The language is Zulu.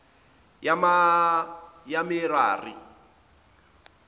yamerari